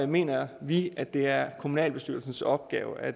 mener vi at det er kommunalbestyrelsens opgave at